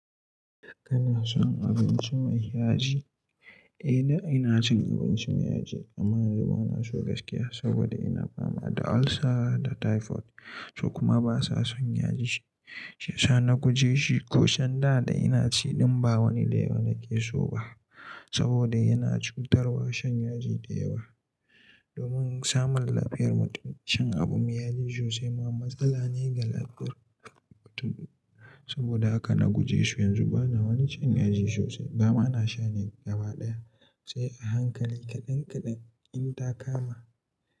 Kana son abinci mai yaji? Eh da ina cin abinci mai yaji amma yanzu bana so gaskiya saboda ina fama da ulcer da typhoid su kuma basa son yaji. Shiyasa na guje shi ko shan da da ina ci ɗin ba wani dayawa nake so ba saboda yana cutarwa shan yaji dayawa. Domin samun lafiyar mutum shan abu mai yaji sosai ma matsala ne ga lafiyar mutum. Saboda da haka na guje shi, yanzu bana ma cin yaji sosai, na ma daina shan shi gaba daya sai a hankali kaɗan kaɗan in ta kama.